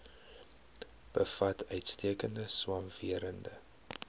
bevat uitstekende swamwerende